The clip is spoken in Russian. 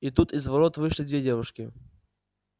и тут из ворот вышли две девушки